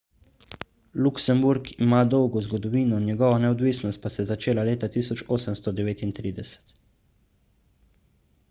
luksemburg ima dolgo zgodovino njegova neodvisnost pa se je začela leta 1839